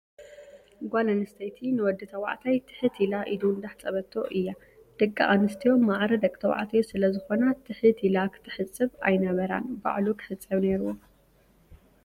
ጓል ኣንስተይቲ ንወዲ ተባዕታይ ትሕት ኢላ ኢዱ እንዳሓፀበቶ እያ ። ደቂ ኣንስትዮ ማዕረ ደቂ ተባዕትዮ ስለ ዝኮና ትሕት ኢላ ክትሕፅቦ ኣይነበራን ባዕሉ ክሕፀብ ነርዎ።